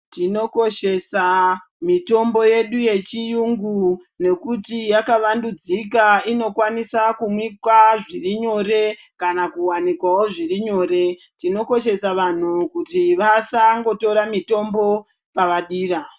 Tinokoshesa mitombo yedu yechirungu nekuti yakavandudzika inokwanisa kumikwa zviri nyore kana kuwanikwawo zviri nyore tinokwanisawo vanhu kuti vasangotora mutombo pavadira.